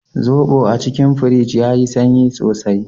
Zobon a cikin firij yayi sanyi sosai.